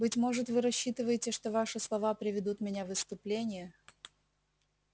быть может вы рассчитываете что ваши слова приведут меня в исступление